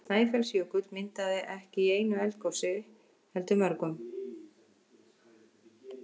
Snæfellsjökull myndaðist ekki í einu eldgosi heldur mörgum.